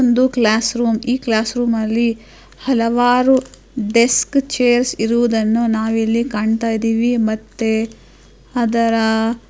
ಒಂದು classroom ಈ classroom ಅಲ್ಲಿ ಹಲವಾರು ಡೆಸ್ಕ್ ಚೇರ್ಸ ಇರುವುದನ್ನು ನಾವು ಇಲ್ಲಿ ಕಾಣ್ತಾ ಇದಿವಿ ಮತ್ತೆ ಅದರ --